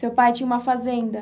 Seu pai tinha uma fazenda?